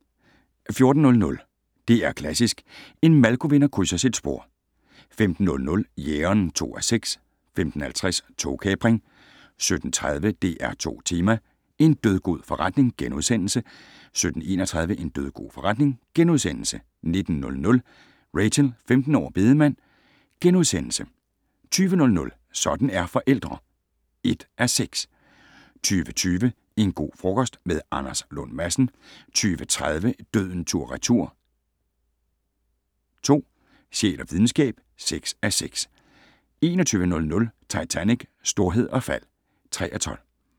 14:00: DR Klassisk: En Malko-vinder krydser sit spor 15:00: Jægeren (2:6) 15:50: Togkapring 17:30: DR2 Tema: En dødgod forretning * 17:31: En dødgod forretning * 19:00: Rachel - 15 år og bedemand * 20:00: Sådan er forældre (1:6) 20:20: En go frokost - med Anders Lund Madsen 20:30: Døden tur/retur (2) - Sjæl og videnskab (6:6) 21:00: Titanic: Storhed og fald (3:12)